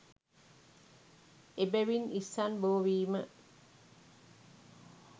එබැවින් ඉස්සන් බෝ වීම